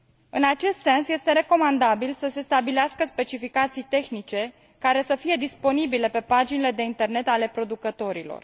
În acest sens, este recomandabil să se stabilească specificații tehnice care să fie disponibile pe paginile de internet ale producătorilor.